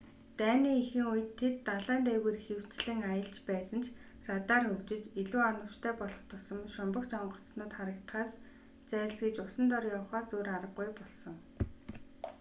дайны эхэн үед тэд далайн дээгүүр ихэвчлэн аялж байсан ч радар хөгжиж илүү оновчтой болох тусам шумбагч онгоцууд харагдахаас зайлсхийж усан дор явахаас өөр аргагүй болсон